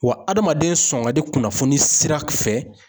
Wa adamaden sɔn ka di kunnafoni sira fɛ